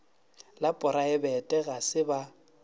la poraebete ga se ba